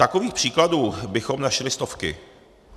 Takových příkladů bychom našli stovky.